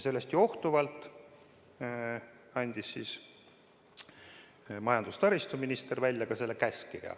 Sellest johtuvalt andis majandus- ja taristuminister selle käskkirja.